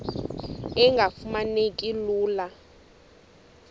engafuma neki lula